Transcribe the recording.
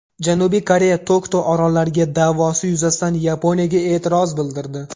Janubiy Koreya Tokto orollariga da’vosi yuzasidan Yaponiyaga e’tiroz bildirdi.